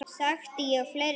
Þekkti ég fleiri hér?